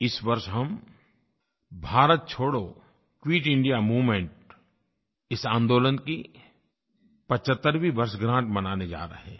इस वर्ष हम भारत छोड़ो क्विट इंडिया मूवमेंट इस आन्दोलन की 75वीं वर्षगाँठ मनाने जा रहे हैं